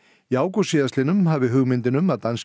í ágúst síðastliðnum hafi hugmyndin um að danski